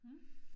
Mh